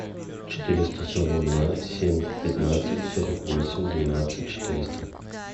четыреста сорок два семь пятнадцать сорок восемь двенадцать четыреста